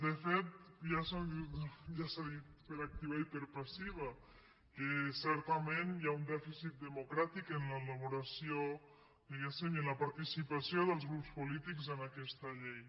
de fet ja s’ha dit per activa i per passiva que certa·ment hi ha un dèficit democràtic en l’elaboració di·guéssim i en la participació dels grups polítics en aquesta llei